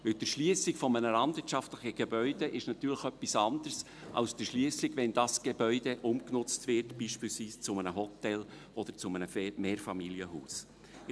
Denn die Erschliessung eines landwirtschaftlichen Gebäudes ist natürlich etwas anderes als die Erschliessung, wenn dieses Gebäude beispielsweise zu einem Hotel oder zu einem Mehrfamilienhaus umgenutzt wird.